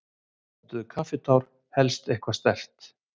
Pöntuðum kaffitár, helst eitthvað sterkt.